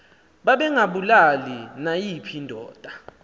babengabulali nayiphi indoda